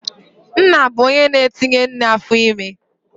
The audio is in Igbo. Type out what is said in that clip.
Nna bụ onye na-etinye nne afọime